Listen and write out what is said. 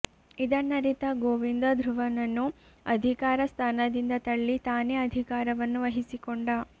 ಇದನ್ನರಿತ ಗೋವಿಂದ ಧ್ರುವನನ್ನು ಅಧಿಕಾರ ಸ್ಥಾನದಿಂದ ತಳ್ಳಿ ತಾನೇ ಅಧಿಕಾರವನ್ನು ವಹಿಸಿಕೊಂಡ